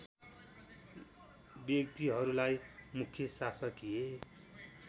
व्यक्तिहरूलाई मुख्य शासकीय